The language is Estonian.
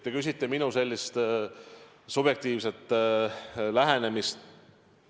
Te küsite minu subjektiivset lähenemist.